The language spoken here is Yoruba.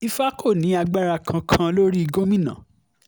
ìfà kò ní agbára kankan lórí gómìnà